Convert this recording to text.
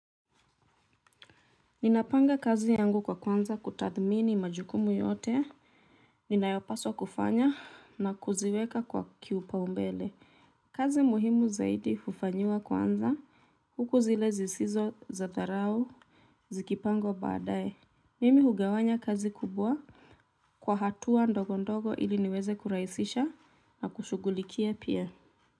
Ninapanga kazi yangu kwa kuanza kutathimini majukumu yote ninayopaswa kufanya na kuziweka kwa kiupaumbele kazi muhimu zaidi hufanyiwa kwanza huku zile zisizo za zarau zikipangwa baadae. Mimi hugawanya kazi kubwa kwa hatua ndogo ndogo ili niweze kurahisisha na kushughulikia pia.